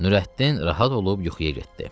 Nurəddin rahat olub yuxuya getdi.